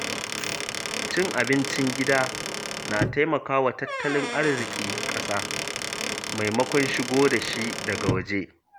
Cin abincin gida na taimaka wa tattalin arzikin ƙasa maimakon shigo da shi daga waje